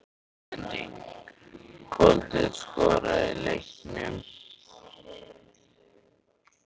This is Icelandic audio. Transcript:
Vísbending: Kolbeinn skoraði í leiknum?